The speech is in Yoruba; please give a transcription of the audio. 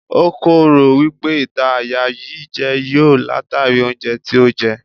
O kò rò wípé ìta àyà yí jẹ yọ látàrí oúnjẹ tí ó jẹ.